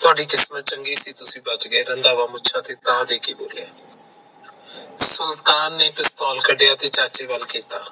ਤੁਹਾਡੀ ਕਿਸਮਤ ਚੰਗੀ ਸੀ ਤੁਸੀਂ ਬਚ ਗਏ ਰੰਧਾਵਾ ਮੁੱਛਾ ਤੇ ਤਾਅ ਦੇ ਕੇ ਬੋਲਿਆ। ਸੁਲਤਾਨ ਨੇ ਪਿਸਤੌਲ ਕੱਢੀਆ ਅਤੇ ਚਾਚੇ ਵੱਲ ਕੀਤਾ